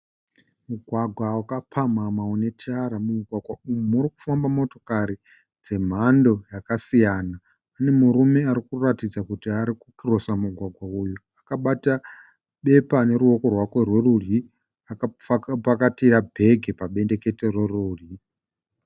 Mugwagwa wakapamhamha une tara mugwagwa uyu uri kufamba motokari dzemhando dzakasiyana. Pane murume ari kutaridza kuti ari kukirosa mugwagwa uyu akabata bepa neruoko rwake rwerudyi akapakatira bheke pabendekete reruoko.